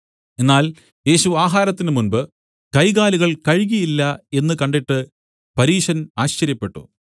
എന്നാൽ യേശു ആഹാരത്തിനു മുമ്പ് കൈകാലുകൾ കഴുകിയില്ല എന്നു കണ്ടിട്ട് പരീശൻ ആശ്ചര്യപ്പെട്ടു